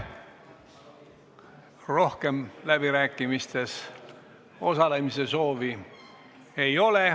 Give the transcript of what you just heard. Rohkem läbirääkimistel osalemise soovi ei ole.